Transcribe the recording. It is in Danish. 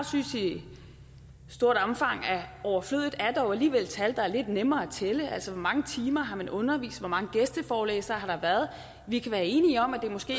synes i stort omfang er overflødigt er dog alligevel tal der er lidt nemmere altså hvor mange timer man har undervist hvor mange gæsteforelæsere der har været vi kan være enige om at det måske